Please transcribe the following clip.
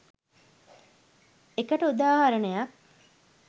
එකට උදාහරණයක්.